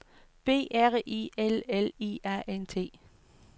B R I L L I A N T